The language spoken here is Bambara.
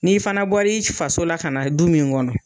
N'i fana bɔr'i faso la, ka na du min kɔnɔ